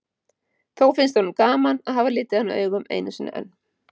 Þó finnst honum gaman að hafa litið hana augum einu sinni enn.